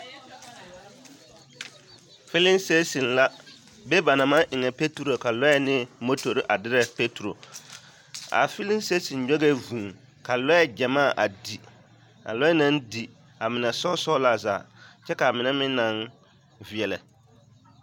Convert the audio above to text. Fiileŋ sitaasin be ba naŋ maŋ eŋne patro ka lure ane motori a dere patro a fiileŋ sitaasin nyɔge vūū ka lure gyamaa a di a lure naŋ di a mine sɔɔ-sɔɔ la zaa kyɛ ka mine meŋ naŋ vielɛ.